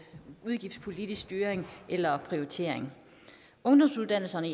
udgiftspolitisk styring eller prioritering ungdomsuddannelserne